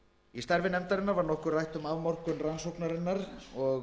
í starfi nefndarinnar var nokkuð var rætt um afmörkun rannsóknarinnar og